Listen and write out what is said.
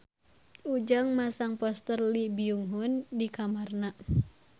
Ujang masang poster Lee Byung Hun di kamarna